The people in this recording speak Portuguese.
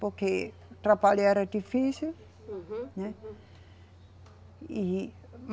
Porque o trabalho era difícil. Uhum. Né? E